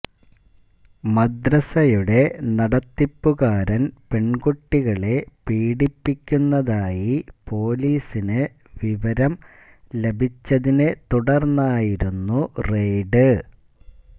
മദ്രസയുടെ നടത്തിപ്പുകാരന് പെണ്കുട്ടികളെ പീഡിപ്പിക്കുന്നതായി പോലീസിന് വിവരം ലഭിച്ചതിനെത്തുടര്ന്നായിരുന്നു റെയ്ഡ്